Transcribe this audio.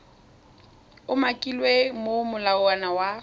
umakilweng mo go molawana wa